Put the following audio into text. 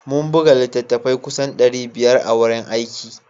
Mun buga littattafai kusan ɗari biyar a wurin aiki